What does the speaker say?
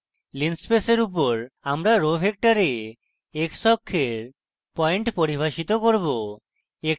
linspace we উপর আমরা row vector x অক্ষের পয়েন্ট পরিভাষিত করব